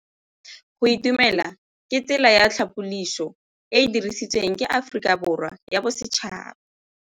Go itumela ke tsela ya tlhapolisô e e dirisitsweng ke Aforika Borwa ya Bosetšhaba.